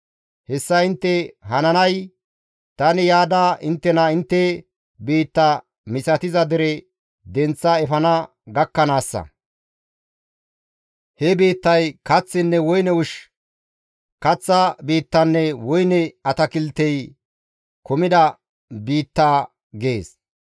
Hessa intte hananay tani yaada inttena intte biitta misatiza dere denththa efana gakkanaassa. He biittay kaththinne woyne ushshi, kaththa biittanne woyne atakiltey kumida biitta› gees.